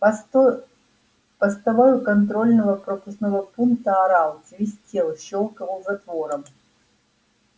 постой постовой у контрольно пропускного пункта орал свистел щёлкал затвором